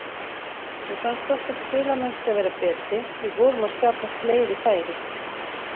Mér fannst okkar spilamennska vera betri, við vorum að skapa fleiri færi.